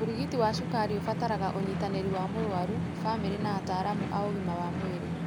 ũrigiti wa cukari ũbataraga ũnyitanĩri wa mũrwaru, familĩ na ataalamu a ũgima wa mwĩrĩ.